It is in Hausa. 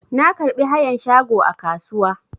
Na karɓi hayan shago a kasuwa.